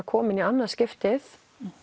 komin í annað skiptið